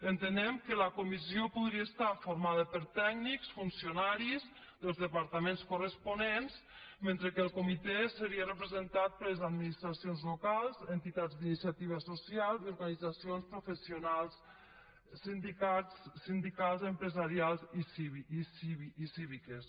entenem que la comissió podria estar formada per tècnics funcionaris dels departaments corresponents mentre que el comitè seria representat per les administracions locals entitats d’iniciativa social i organitzacions professionals sindicals empresarials i cíviques